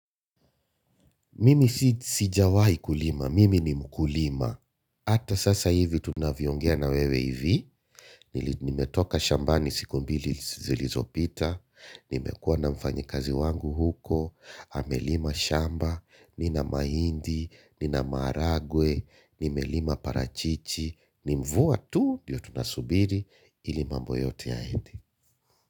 Mimi sijawahi kulima, mimi ni mkulima. Hata sasa hivi tunavyoongea na wewe hivi. Nimetoka shambani siku mbili zilizopita. Nimekuwa na mfanyikazi wangu huko. Amelima shamba, nina maindi, nina maharagwe, nimelima parachichi. Ni mvua tu ndiyo tunasubiri ili mambo yote yaende.